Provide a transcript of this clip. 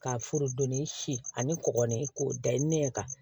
Ka forodonni si ani kɔkɔ ni k'o da ye ne ɲɛ kan